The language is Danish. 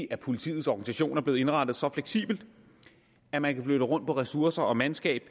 at politiets organisation er blevet indrettet så fleksibelt at man kan flytte rundt på ressourcer og mandskab